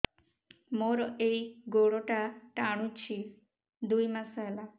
ମୋର ଏଇ ଗୋଡ଼ଟା ଟାଣୁଛି ଦୁଇ ମାସ ହେଲା